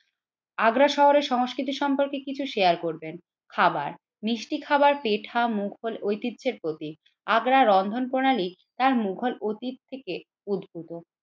আগ্রা শহরের সংস্কৃতি সম্পর্কে কিছু শেয়ার করবেন, খাবার মিষ্টি খাবার পেঠা মুঘল ঐতিহ্যের প্রতীক। আগ্রার রন্ধন প্রণালী তার মুঘল অতীত থেকে উদ্ভূত